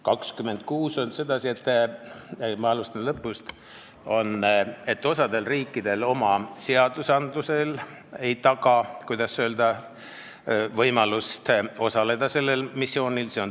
26 on seetõttu – ma alustan lõpust –, et osa riikide seadused ei taga, kuidas öelda, võimalust sellel missioonil osaleda.